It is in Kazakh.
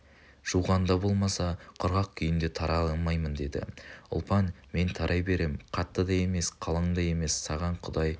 жуғанда болмаса құрғақ күйінде тарай алмаймын деді ұлпан мен тарай берем қатты да емес қалың да емес саған құдай